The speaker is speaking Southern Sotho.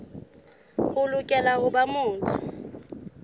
o lokela ho ba motho